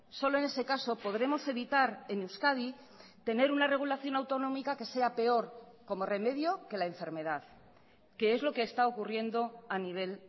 solo en ese caso podremos evitar en euskadi tener una regulación autonómica que sea peor como remedio que la enfermedad que es lo que está ocurriendo a nivel